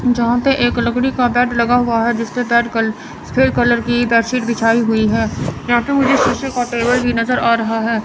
यहां पे एक लकड़ी का बेड लगा हुआ है जिसपे कलर की बेडशीट बिछाए हुई है यहां पे मुझे शीशे का टेबल भी नजर आ रहा है।